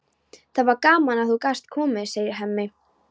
Það var gaman að þú gast komið, segir Hemmi.